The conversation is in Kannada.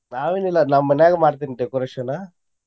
ನಾವೇನ್ ಇಲ್ಲಾ ನಾನ್ ಮನ್ಯಾಗ ಮಾಡ್ತೇನಿ decoration .